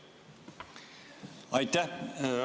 Aitäh!